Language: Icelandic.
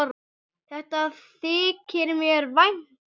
Þetta þykir mér vænt um.